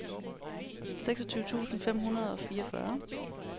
seksogtyve tusind fem hundrede og fireogfyrre